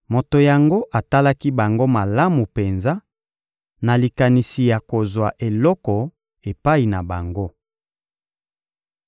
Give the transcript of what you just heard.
Moto yango atalaki bango malamu penza, na likanisi ya kozwa eloko epai na bango.